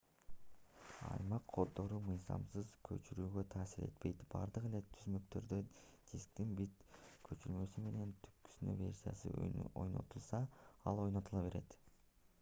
аймак коддору мыйзамсыз көчүрүүгө таасир этпейт бардык эле түзмөктөрдө дисктин бит көчүрмөсү менен түпнуска версиясы ойнотулса ал ойнотула берет